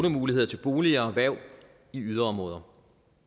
lånemuligheder til boliger og erhverv i yderområder